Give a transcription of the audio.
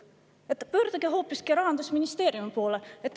Mulle öeldi, et pöördugu ma hoopiski Rahandusministeeriumi poole.